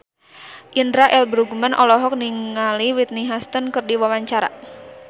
Indra L. Bruggman olohok ningali Whitney Houston keur diwawancara